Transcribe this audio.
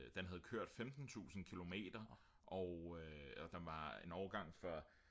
den havde kørt 15000 kilometer og den var en årgang før